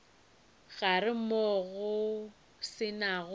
gare moo go se nago